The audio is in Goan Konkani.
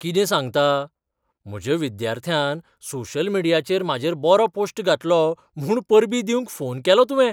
कितें सांगता? म्हज्या विद्यार्थ्यान सोशल मिडियाचेर म्हाजेर बरो पोश्ट घातलो म्हूण परबीं दिवंक फोन केलो तुवें!